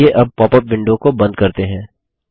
चलिए अब popup window को बंद करते हैं